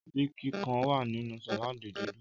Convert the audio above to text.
Ọtí kíkan wà nínú sàládì dídùn.